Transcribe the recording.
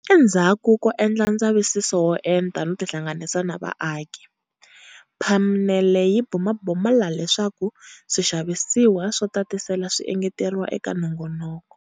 Endzhaku ko endla ndzavisiso wo enta no tinhlanganisa na vaaki, phanele yi bumabumela leswaku swixavisiwa swo tatisela swi engeteriwa eka nongoloko.